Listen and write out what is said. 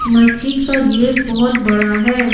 मस्जिद का गेट बहुत बड़ा है।